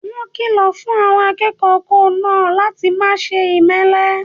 Wọ́n kìlọ̀ fun àwọn akẹ́kọ̀ọ́ kòó náà láti máse ìmẹ́lẹ́